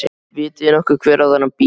Vitið þið nokkuð hver á þennan bíl?